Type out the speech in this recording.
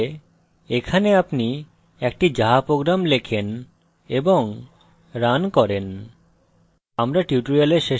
এইভাবে এখানে আপনি একটি java program লেখেন এবং রান করেন